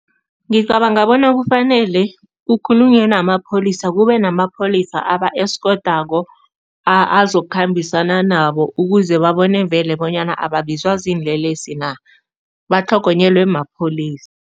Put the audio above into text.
Ngicabanga bona kufanele kukhulunywe namapholisa kube namapholisa aba-eskothako, azokukhambisana nabo ukuze babone vele bonyana ababizwa ziinlelesi na, batlhogonyelwe mapholisa.